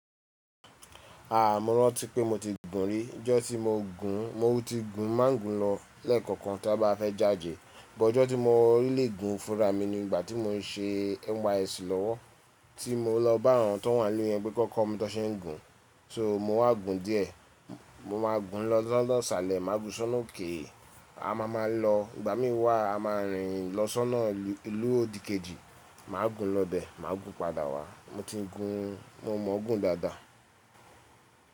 Mo rántí pé mo ti gùn rí. Ọjọ́ tí mo gùn, mo ti gùn má gùn lọ lẹ́ẹ̀kọ̀kan tí a bá fẹ́ jáde. But ọjọ́ tí mo really gùn fúnra mi ni ìgbà tí mo n ṣe NYSC lọ́wọ́ tí mo lọ bá àwọn tó wà ni ilú ìyẹn pé ki won kọ́ mi tó ṣe ń gùn. So mo wáa gùn díẹ̀, mo máa gùn lọ si ona iṣálẹ̀, má gùn lo si ọ́nà òkè. A má ma lọ, ìgbà mí wà a má rìn lọ sọ́nà ìlú òdìkejì, màá gùn lọ bẹ, màá gùn padà wá. Mo ti gùn, mo mọ gùn dáadáa.